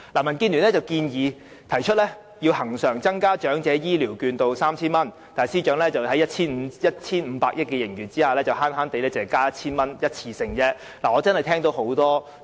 民建聯提出要求恆常增加長者醫療券至 3,000 元，但司長在坐擁 1,500 億元的盈餘下，卻只節約地增加一次性的 1,000 元。